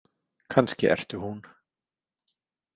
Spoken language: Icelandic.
Kannski ertu hún.